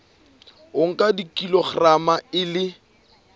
o nka kilograma e le